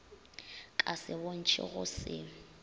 ka se bontšhe go se